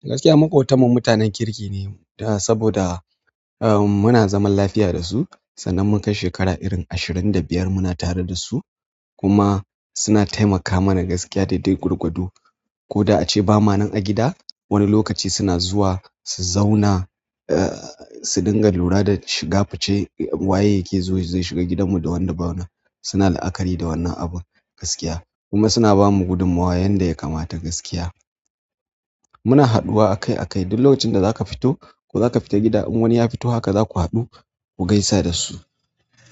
Gaskiya maƙotanmu mutanen kirki ne, saboda muna zaman lafiya dasu sannan mun kai shekara irin ashirin da biyar muna tare dasu kuma suna taimaka mana gaskiya daidai gwargwado. Ko da ace ba mana a gida, wani lokaci suna zuwa su zauna, su dinga lura da shiga fice waye yake zuwa zai shiga gidanmu da wanda ba wane. Suna la'akari da wannan abun gaskiya. Kuma suna bamu gudummawa yanda ya kamata gaskiya. Muna haɗuwa akai akai, duk lokacin da zaka fito ko zaka fita gida in wani ya fito haka zaku haɗu ku gaisa dasu.